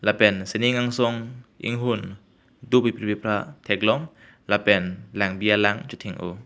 lapen sining angsong inghun do piphri pephra theklong lapen lankbi alank chething o.